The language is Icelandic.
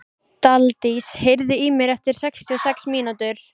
Daldís, heyrðu í mér eftir sextíu og sex mínútur.